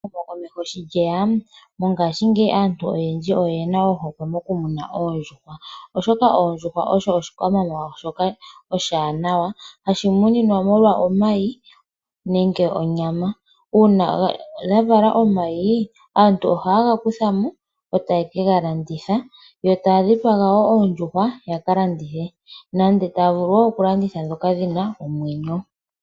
Ehumokomeho sho lyeya, mongaashingeyi aantu oyendji oye na ohokwe moku muna oondjuhwa oshoka oondjuhwa osho oshikwamawawa shoka oshiwanawa hashi muninwa molwa omayi nenge onyama. Uuna dha vala omayi, aantu ohaye ga kutha mo etayeke ga landitha yo taya dhipaga wo oondjuhwa yaka landithe nande taya vulu wo oku landitha ndhoka dhi na omwenyo.